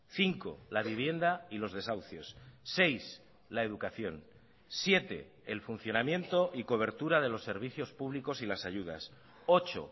cinco la vivienda y los desahucios seis la educación siete el funcionamiento y cobertura de los servicios públicos y las ayudas ocho